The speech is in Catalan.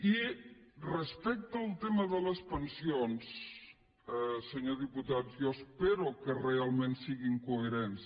i respecte al tema de les pensions senyor diputat jo espero que realment siguin coherents